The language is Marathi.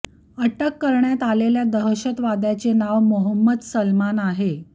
अटक करण्यात आलेल्या दहशतवाद्याचे नाव मोहम्मद सलमान आहे